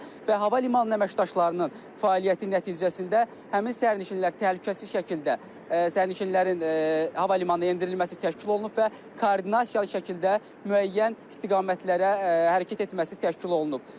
Və hava limanı əməkdaşlarının fəaliyyəti nəticəsində həmin sərnişinlər təhlükəsiz şəkildə sərnişinlərin hava limanı endirilməsi təşkil olunub və koordinasiyalı şəkildə müəyyən istiqamətlərə hərəkət etməsi təşkil olunub.